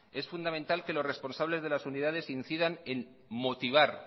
es fundamental que los responsables de las unidades incidan en motivar